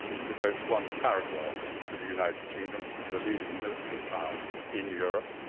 it devotes one paragraph to the United Kingdom, the leading military power in Europe